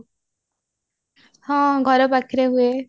ହଁ ଘର ପାଖରେ ହୁଏ